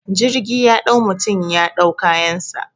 Jirgi ya dau mutum ya dau kayansa